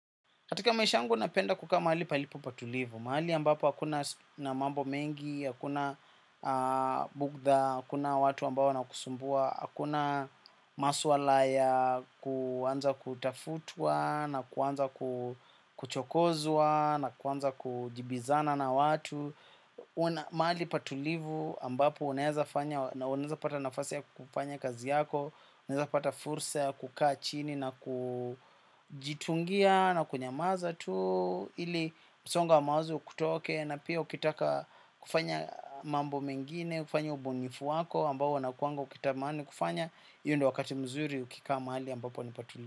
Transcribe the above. Katika maisha yangu napenda kukaa mahali palipo patulivu, mahali ambapo hakuna na mambo mengi, hakuna bugda, hakuna watu ambao wanakusumbua, hakuna masuala ya, kuanza kutafutwa, na kuanza kuchokozwa, na kuanza kujibiza na watu. Maali patulivu ambapo unaeza fanya na uneza pata nafasi ya kufanya kazi yako. Uneza pata fursa ya kukaa chini na kujitungia na kunyamaza tu. Ili msongo wa mawazo ukutoke na pia ukitaka kufanya mambo mengine kufanya ubunifu wako ambao unakuanga ukitamani kufanya hiyo ndo wakati mzuri ukikaa mahali ambapo ni patulivu.